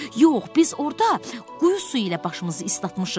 Yox, biz orada quyu suyu ilə başımızı islatmışıq.